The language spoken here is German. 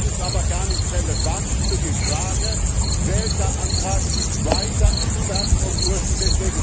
Das ist aber gar nicht relevant für die Frage, welcher Antrag sich weiter entfernt vom ursprünglichen Text.